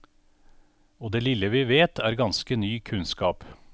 Og det lille vi vet, er ganske ny kunnskap.